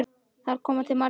Þar koma til margir þættir.